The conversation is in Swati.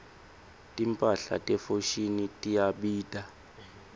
timphahla te foschini tiyabita